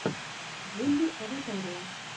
вулли аватария